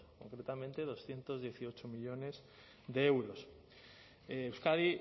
concretamente doscientos dieciocho millónes de euros euskadi